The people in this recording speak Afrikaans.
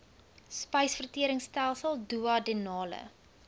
spysvertering stelsel duodenale